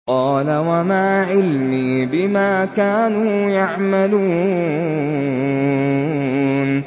قَالَ وَمَا عِلْمِي بِمَا كَانُوا يَعْمَلُونَ